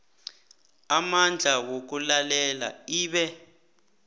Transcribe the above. amandla wokulalela ibe